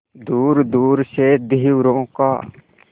दूरदूर से धीवरों का